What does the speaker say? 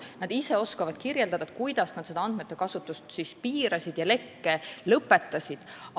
Nad ise oskavad kirjeldada, kuidas nad andmete kasutust piirasid ja lekke lõpetasid.